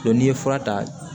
n'i ye fura ta